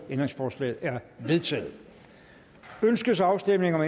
ændringsforslaget er vedtaget ønskes afstemning om